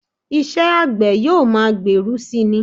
Iṣẹ́ àgbẹ̀ yóò máa gbèrú si ni